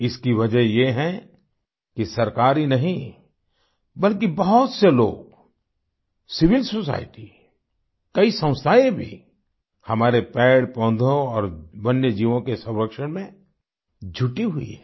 इसकी वजह ये है कि सरकार ही नहीं बल्कि बहुत से लोग सिविल सोसाइटी कई संस्थाएँ भी हमारे पेड़पौधों और वन्यजीवों के संरक्षण में जुटी हुई हैं